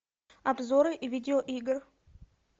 обзоры видеоигр